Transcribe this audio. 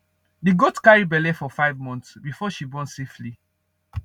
the goat carry belle for five months before she born safely